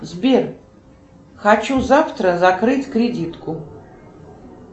сбер хочу завтра закрыть кредитку